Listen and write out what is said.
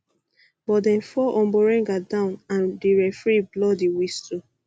but dem fall omborenga down and di referee blow referee blow di whistle